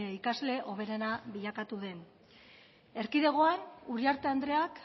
ikasle hoberena bilakatu den erkidegoan uriarte andreak